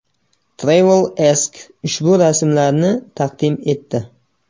Travel Ask ushbu rasmlarni taqdim etdi.